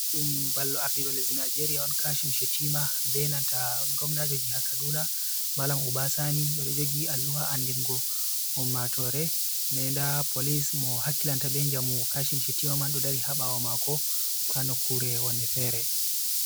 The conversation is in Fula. Ɗudum ballo ardiɗo lesdi Nijeria on kashim Shetima be nanta gomnajo jiha kaduna Malam Uba Sani ɓeɗo jogi alluha andingo ummatore nden nda polis mo hakilanta ɓe njamu Kashim Shettima man ɗo dari ha ɓawo mako ha nokkure wanne fere.